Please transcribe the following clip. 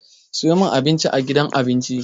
Sayo min Abinci a gidan abinci!